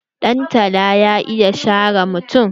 Dantala ya iya share mutum.